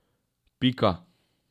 Pika.